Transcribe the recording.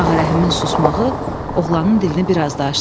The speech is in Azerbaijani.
Ağarəhimin susmağı oğlanın dilini biraz da açdı.